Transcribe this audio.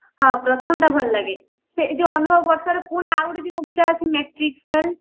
ହଁ ପ୍ରଥମଟା ଭଲ ଲାଗେ ସେ ଅନୁଭବ ବର୍ଷାର ପୁଣି ଆଉ ଗୋଟେ ଯାଉ movie ଟା ଅଛି ମାଟ୍ରିକ fail